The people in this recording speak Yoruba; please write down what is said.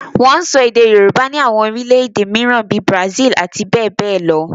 Wọ́n ń sọ èdè Yorùbá ní àwọn orílẹ̀ èdè mìíràn bíi Brazil àti bẹ́ẹ̀ bẹ́ẹ̀ lọ